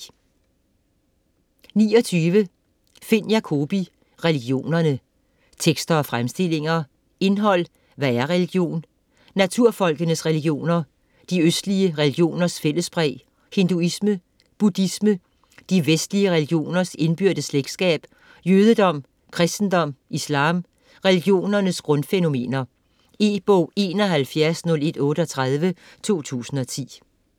29 Jacobi, Finn: Religionerne: tekster og fremstillinger Indhold: Hvad er religion?; Naturfolkenes religioner; De østlige religioners fællespræg; Hinduisme; Buddhisme; De vestlige religioners indbyrdes slægtskab; Jødedom; Kristendom; Islam; Religionernes grundfænomener. E-bog 710138 2010.